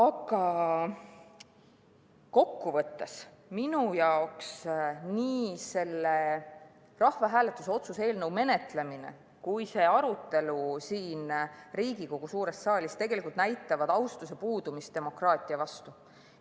Aga kokkuvõttes näitavad nii selle rahvahääletuse otsuse eelnõu menetlemine kui ka see arutelu siin Riigikogu suures saalis minu jaoks tegelikult austuse puudumist demokraatia vastu.